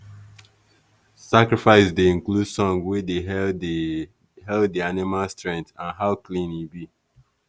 sacrifice dey include song wey dey hail the hail the animal strength and how clean e be.